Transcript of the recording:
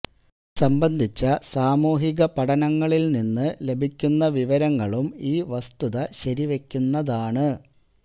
ഇതുസംബന്ധിച്ച സാമൂഹിക പഠനങ്ങളിൽ നിന്ന് ലഭിക്കുന്ന വിവരങ്ങളും ഈ വസ്തുത ശരിവെക്കുന്നതാണ്